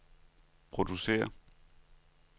producere